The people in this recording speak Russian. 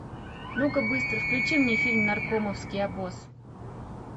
ну ка быстро включи мне фильм наркомовский обоз